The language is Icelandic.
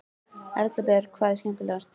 Erla Björg: Hvað er skemmtilegast?